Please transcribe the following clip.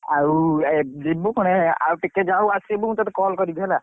ଆଉ ଯିବୁ କଣ ଆଉ ଟିକେ ଯଉ ଆସିବୁ ମୁଁ ତତେ call କରିମି ହେଲା।